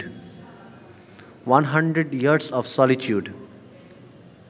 one hundred years of solitude